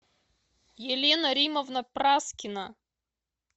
елена римовна праскина